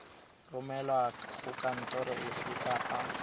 romelwa go kantoro efe kapa